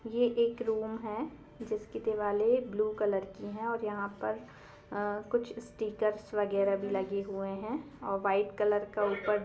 ये एक रूम है जिसके दीवाले ब्लू कॉलर की है और यहां पर कुछ स्टिकर्स वगेरा भी लगे है और कुछ व्हाइट का उपर --